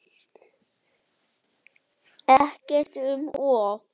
Ekkert um of.